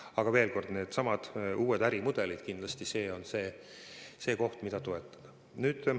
Aga veel kord, needsamad uued ärimudelid – kindlasti see on see koht, mida toetada.